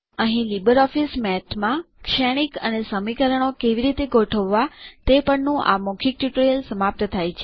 અહીં લીબરઓફીસ મેઠમાં શ્રેણિક અને સમીકરણો કેવી રીતે ગોઠવવા તે પરનું આ મૌખિક ટ્યુટોરીયલ સમાપ્ત થાય છે